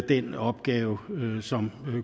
den opgave som